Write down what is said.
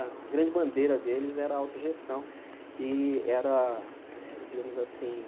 A grande bandeira deles era a autogestão e era eh, digamos assim,